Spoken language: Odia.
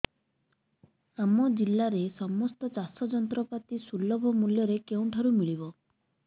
ଆମ ଜିଲ୍ଲାରେ ସମସ୍ତ ଚାଷ ଯନ୍ତ୍ରପାତି ସୁଲଭ ମୁଲ୍ଯରେ କେଉଁଠାରୁ ମିଳିବ